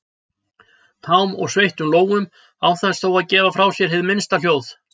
tám og sveittum lófum án þess þó að gefa frá mér hið minnsta hljóð.